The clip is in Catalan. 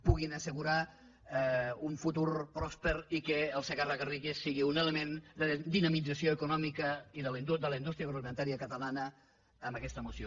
puguin assegurar un futur pròsper i que el segarra garrigues sigui un element de dinamització econòmica de la indústria agroalimentària catalana amb aquesta moció